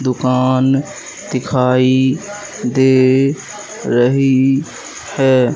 दुकान दिखाई दे रही है।